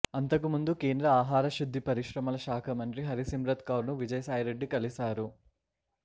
అంతకు ముందు కేంద్ర ఆహారశుద్ధి పరిశ్రమల శాఖ మంత్రి హరి సిమ్రత్ కౌర్ను విజయసాయి రెడ్డి కలిశారు